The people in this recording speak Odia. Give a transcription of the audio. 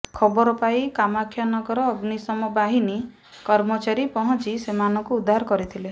ଖବର ପାଇ କାମାକ୍ଷାନଗର ଅଗ୍ନିଶମ ବାହିନୀ କର୍ମଚାରୀ ପହଞ୍ଚି ସେମାନଙ୍କୁ ଉଦ୍ଧାର କରିଥିଲେ